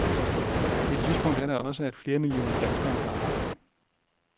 Et lyspunkt er da også, at flere millioner danskere har arbejde.